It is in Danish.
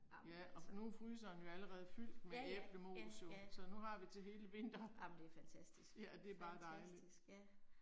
Ja og nu er fryseren jo allerede fyldt med æblemos jo, så nu har vi til hele vinteren. Ja det er bare dejligt